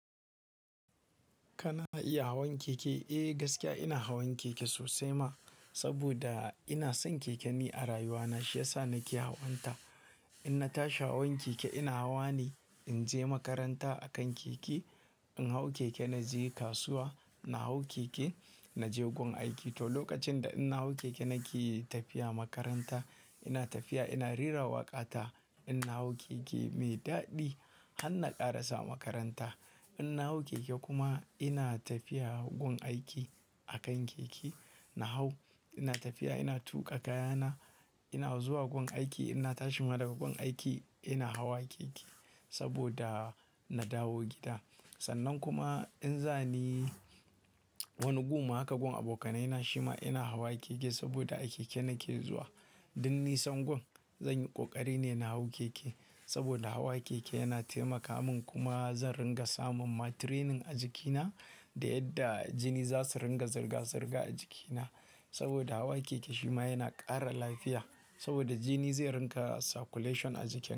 Kana iya hawan keke? Eh, gaskiya ina hawan keke sosai ma. Saboda ina son keke ni a rayuwa na shiyasa nake hawanta. In na tashi hawan keke ina hawa ne in je makaranta akan keke. In hau keke na je kasuwa, na hau keke na je gun aiki. To, lokacin da in na hau keke nake tafiya makaranta, ina tafiya ina rera waƙa ta. In na hau keke mai daɗi har na ƙarasa makaranta. In na hau keke kuma ina tafiya gun aiki akan keke na hau. Ina tafiya ina tuƙa kayana ina zuwa gun aiki. Inna tashi ma daga gun aiki ina hawa keke saboda na dawo gida. Sannan kuma in za ni wani guma haka gun abokanai na shima ina hawa keke saboda a keke nake zuwa. Duk nisan gun zan yi ƙoƙari ne na hau keke saboda hawa keke yana taimaka min kuma zan ringa samun ma training a jikina da yadda jini za su ringa zirga-zirga a jikina. Saboda hawa keke shima yana ƙara lafiya, saboda jini zai ringa circulation a jiki.